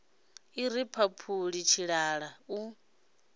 i ri mphaphuli tshilala u